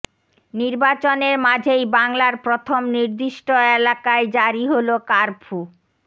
নির্বাচনের মাঝেই বাংলার প্রথম নির্দিষ্ট এলাকায় জারি হল কার্ফু